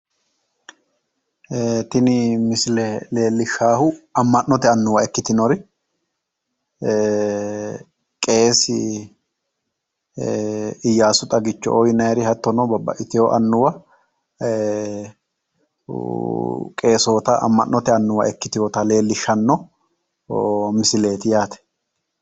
Tini misile leellishshaahu amma'note annuwa ikkitinori qeesi iyyaasu xagicho"oo yinayiri hattono babbaxxitiwo annuwa qeesoota amma'note annuwa ikkitiwota leellishshanno misileeti yaate.